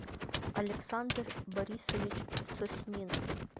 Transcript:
александр борисович соснин